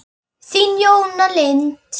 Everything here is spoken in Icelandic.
Þín, Jóna Lind.